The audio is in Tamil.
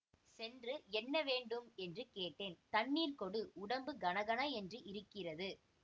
சென்று என்ன வேண்டும் என்று கேட்டேன் தண்ணீர் கொடு உடம்பு கனகன என்று இருக்கிறது